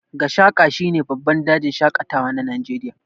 Gashaka shine babban dajin shaƙatawa na Najeriya.